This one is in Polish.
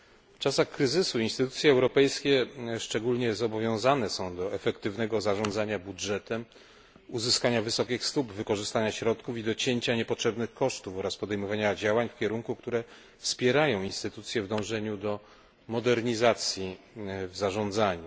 W czasach kryzysu instytucje europejskie szczególnie zobowiązane są do efektywnego zarządzania budżetem, uzyskania wysokich stóp, wykorzystania środków i docięcia niepotrzebnych kosztów oraz podejmowania działań takim kierunku, aby wspierać instytucje w dążeniu do modernizacji w zarządzaniu.